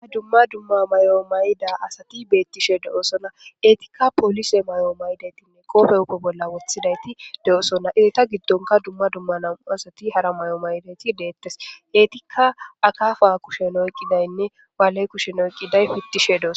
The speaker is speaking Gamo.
Dumma dumma mayuwa mayida asathi beeththishe de7oosona;eethikka poolise mayuwa mayida etha qoophe huuphe bolla woththidaythi doosona;eetha giddonkka dumma dumma nam7u asathi hara mayuwa mayidaageethi deeththes;eethikka akaafaa kushiyan oyqqidaynne bale kushen oyqqiday uththishe doosona.